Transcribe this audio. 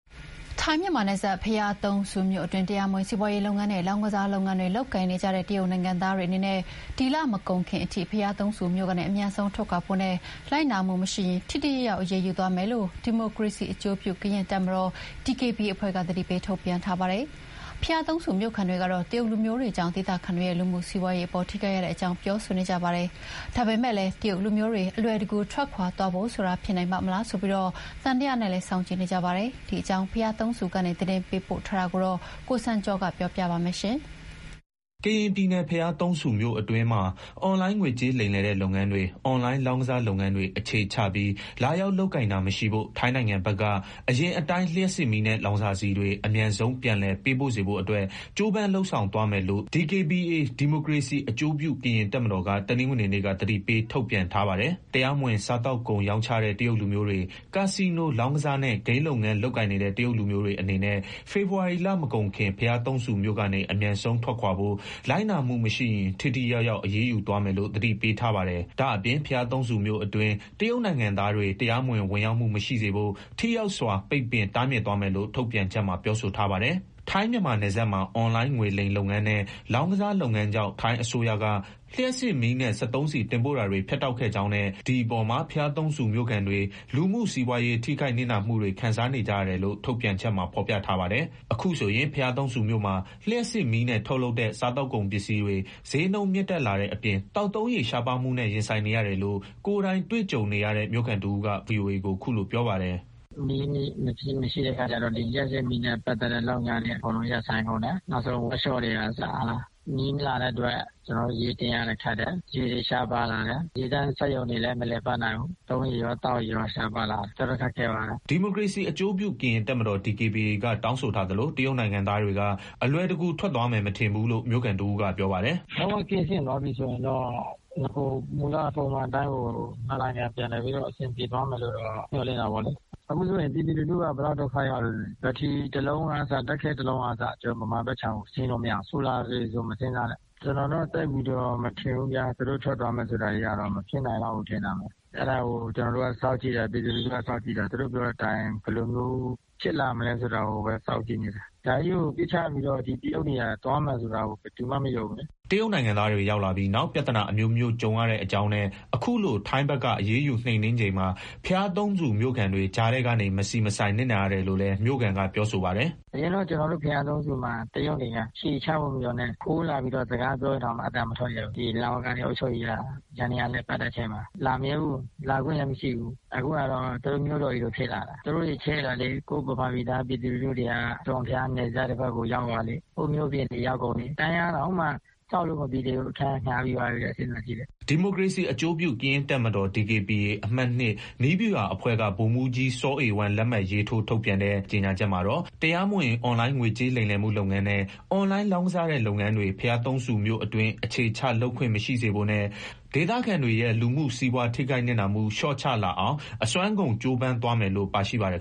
ထိုင်း-မြန်မာနယ်စပ် ဘုရားသုံးဆူမြို့အတွင်း တရားမဝင် စီးပွားရေးလုပ်ငန်းနဲ့ လောင်းကစားလုပ်ငန်းတွေ လုပ်ကိုင်နေကြတဲ့ တရုတ်နိုင်ငံသားတွေအနေနဲ့ ဒီလမကုန်ခင်အထိ ဘုရားသုံးဆူမြို့ကနေ အမြန်ဆုံးထွက်ခွာဖို့နဲ့ လိုက်နာမှုမရှိရင် ထိထိရောက်ရောက် အရေးယူသွားမယ်လို့ ဒီမိုကရေစီအကျိုးပြု ကရင်တပ်မတော် အဖွဲ့က သတိပေးထုတ်ပြန်ထားပါတယ်။ ဘုရားသုံးဆူမြို့ခံတွေကတော့ တရုတ်လူမျိုးတွေကြောင့် ဒေသခံတွေရဲ့ လူမှုစီးပွားရေးအပေါ် ထိခိုက်ရတဲ့အကြောင်း ပြောဆိုနေကြပါတယ်။ ဒါပေမဲ့လည်း တရုတ်လူမျိုးတွေ အလွယ်တကူ ထွက်ခွာသွားဖို့ဆိုတာ ဖြစ်နိုင်ပါ့မလားဆိုပြီး သံသယနဲ့ စောင့်ကြည့်နေကြပါတယ်။ ဒီအကြောင်း ဘုရားသုံးဆူကနေ သတင်းပေးပို့ထားပါတယ်။ ကရင်ပြည်နယ်၊ ဘုရားသုံးမြို့အတွင်းမှာ အွန်လိုင်း ငွေကြေးလိမ်လည်တဲ့ လုပ်ငန်းတွေ၊ အွန်လိုင်းလောင်းကစားလုပ်ငန်းတွေ အခြေချပြီး လာရောက်လုပ်ကိုင်တာ မရှိဖို့၊ ထိုင်းနိုင်ငံဘက်က အရင်အတိုင်း လျှပ်စစ်မီးနဲ့ လောင်စာဆီတွေ အမြန်ဆုံး ပြန်လည်ပေးပို့စေဖို့အတွက် ကြိုးပမ်းလုပ်ဆောင်သွားမယ်လို့ ဒီမိုကရေစီအကျိုးပြု ကရင်တပ်မတော်က တနင်္ဂနွေနေ့က သတိပေး ထုတ်ပြန်ထားပါတယ်။ တရားမဝင် စားသောက်ကုန် ရောင်းချတဲ့ တရုတ်လူမျိုးတွေ၊ ကက်စီနို လောင်းကစားနဲ့ ဂိမ်းလုပ်ငန်း လုပ်ကိုင်နေတဲ့ တရုတ်လူမျိုးတွေအနေနဲ့ ဖေဖေါ်ဝါရီလမကုန်ခင် ဘုရားသုံးဆူမြို့ကနေ အမြန်ဆုံးထွက်ခွာဖို့၊ လိုက်နာမှုမရှိရင် ထိထိရောက်ရောက် အရေးယူသွားမယ်လို့ သတိပေးထားပါတယ်။ ဒါ့အပြင် ဘုရားသုံးဆူမြို့အတွင်း တရုတ်နိုင်ငံသားတွေ တရားမဝင် ဝင်ရောက်မှု မရှိစေဖို့ ထိရောက်စွာ ပိတ်ပင် တားမြစ်သွားမယ်လို့ ထုတ်ပြန်ချက်မှာ ပြောဆိုထားပါတယ်။ ထိုင်း-မြန်မာနယ်စပ်မှာ အွန်လိုင်း ငွေလိမ်လုပ်ငန်းနဲ့ လောင်းကစားလုပ်ငန်းကြောင့် ထိုင်းအစိုးရက လျှပ်စစ်မီးနဲ့ စက်သုံးဆီတင်ပို့တာတွေ ဖြတ်တောက်ခဲ့ကြောင်းနဲ့ ဒီအပေါ်မှာ ဘုရားသုံးဆူမြို့ခံတွေ လူမှုစီးပွားရေး ထိခိုက်နစ်နာမှုများ ခံစားနေကြရတယ်လို့ ထုတ်ပြန်ချက်မှာ ဖော်ပြထားပါတယ်။ အခုဆိုရင် ဘုရားသုံးဆူမြို့မှာ လျှပ်စစ်မီးနဲ့ ထုတ်လုပ်တဲ့ စားသောက်ကုန်ပစ္စည်းတွေ ဈေးနှုန်းမြင့်တက်လာတဲ့အပြင် သောက်သုံးရေရှားပါးမှုနဲ့ ရင်ဆိုင်နေရပြီလို့ ကိုယ်တိုင်တွေ့ကြုံနေရတဲ့ မြို့ခံတဦးက ဗွီအိုအေကို ခုလိုပြောပါတယ်။ “မီးမရှိတဲ့အခါကျတော့ ဒီ လျှပ်စစ်မီးနဲ့ ပတ်သက်တဲ့လုပ်ငန်းတွေ အကုန်လုံး ရပ်ဆိုင်းကုန်တယ်၊ နောက်ဆုံး ဝပ်ရှော့တွေကအစပေါ့၊ မီးမလာတဲ့အတွက် ကျနော်တို့ ရေတင်ရတာခက်တယ်၊ ရေတွေရှားပါးလာတယ်၊ ရေသန့်စက်ရုံတွေလည်း မလည်ပတ်နိုင်ဘူး၊ သုံးရေရော သောက်ရေရော ရှားပါးလာတယ်၊ တော်တော်ခက်ခဲသွားတယ်။” ဒီမိုကရေစီအကျိုးပြု ကရင်တပ်မတော် က တောင်းဆိုထားသလို တရုတ်နိုင်ငံသားတွေ အလွယ်တကူ ထွက်သွားမယ် မထင်ဘူးလို့ မြို့ခံတဦးက ပြောပါတယ်။ လုံးဝ ကင်းစင်သွားပြီးဆိုရင်တော့ နဂိုမူလအတိုင်း နှစ်နိုင်ငံ ပြန်လည်ပြီးတော့ အဆင်ပြေသွားမယ်လို့ မျှော်လင့်တာပေ့ါလေ။ အခုဆိုရင် ပြည်သူလူထုက ဘယ်လောက်ဒုက္ခရောက်သလဲ… ဘတ်ထရီ ၁ လုံးကအစ ဓာတ်ခဲ ၁ လုံးကအစ ကျနော်တို့ ဗမာဘက်ခြမ်းကို ဆင်းလို့မရဘူး၊ ဆိုလာဆို မစဉ်းစားနဲ့။ ကျနော်တို့က သိပ်ပြီးတော့ မထင်ဘူးဗျ၊ သူတို့ထွက်သွားမယ်ဆိုတာကတော့ မဖြစ်နိုင်လောက်ဘူး ထင်တာပဲ။ အဲ့ဒါကို ကျနော်တို့က စောင့်ကြည့်တယ်၊ ပြည်သူလူထုက စောင့်ကြည့်တယ်၊ သူတို့ပြောတဲ့အတိုင်း ဘယ်လိုမျိုးဖြစ်လာမလဲ ဆိုတာကိုပဲ စောင့်ကြည့်နေတယ်။ ဒါကြီးကို ပြစ်ချပြီးတော့ ဒီတရုတ်တွေက သွားမယ်ဆိုတာကို ဘယ်သူမှမယုံဘူးလေ။” တရုတ်နိုင်ငံသားတွေ ရောက်လာပြီးနောက် ပြဿနာအမျိုးမျိုး ကြုံရတဲ့အကြောင်းနဲ့ အခုလို ထိုင်းဘက်က အရေးယူ နှိမ်နှင်းချိန်မှာ ဘုရားသုံးဆူမြို့ခံတွေ ကြားထဲကနေ မဆီမဆိုင် နစ်နာရတယ်လို့လည်း မြို့ခံက ပြောဆိုပါတယ်။ “အရင်တုန်းက ကျနော်တို့ ဘုရားသုံးဆူမှာ တရုတ်တွေက အခြေချဖို့မပြောနဲ့၊ ခိုးလာပြီးတော့ စကားပြောတာတောင် အသံမထွက်ရဲဘူး၊ ဒီ လ.ဝ.က အုပ်ချုပ်ရေးယန္တရား လည်ပတ်တဲ့အချိန်မှာ လာမရဲဘူး၊ လာခွင့်လည်းမရှိဘူး။ အခုကတော့ သူတို့ မြို့တော်ကြီးလိုဖြစ်လာတာ၊ သူတို့တွေ ချဲ့လာလေ ကိုယ့်ဗမာပြည်သား ပြည်သူလူထုတွေက အစွန့်အဖျား နယ်စပ်တွေဘက် ရောက်သွားလေပဲ၊ ဟိုမြို့အပြင်တွေ ရောက်ကုန်တယ်၊ တိုက်ခန်းတောင်မှ ဆောက်လို့မပြီးသေးဘူး၊ အခန်းက ငှါးပြီးသွားပြီတဲ့ သူတို့၊ စဉ်းစားကြည့်လေ။” ဒီမိုကရေစီအကျိုးပြုတပ်မတော် DKBA အမှတ် နည်းဗျူဟာအဖွဲ့က ဗိုလ်မှူးကြီး စောအေဝမ်း လက်မှတ်ရေးထိုး ထုတ်ပြန်တဲ့ ကြေညာချက်မှာတော့ တရားမဝင် အွန်လိုင်း ငွေကြေးလိမ်လည်မှု လုပ်ငန်းနဲ့ အွန်လိုင်းလောင်းကစားတဲ့ လုပ်ငန်းတွေ ဘုရားသုံးဆူမြို့အတွင်း အခြေချလုပ်ခွင့် မရှိစေဖို့နဲ့ ဒေသခံတွေရဲ့ လူမှုစီးပွား ထိခိုက်နစ်နာမှု လျော့ကျလာအောင် အစွမ်းကုန် ကြိုးပမ်းသွားမယ်လို့ ပါရှိပါတယ်